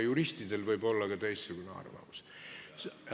Juristidel võib olla ka teistsugune arvamus.